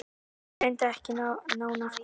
Tilgreindi ekki nánar hvar.